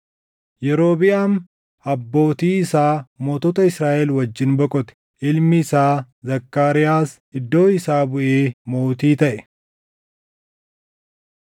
Yerobiʼaam abbootii isaa mootota Israaʼel wajjin boqote; ilmi isaa Zakkaariyaas iddoo isaa buʼee mootii taʼe.